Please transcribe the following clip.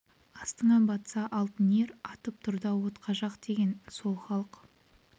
астыңа батса алтын ер атып ұр да отқа жақ деген сол халық